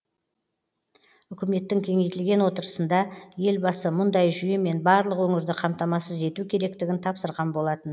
үкіметтің кеңейтілген отырысында елбасы мұндай жүйемен барлық өңірді қамтамасыз ету керектігін тапсырған болатын